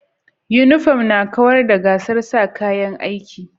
Uniform na kawar da gasar sa kaya a'aiki.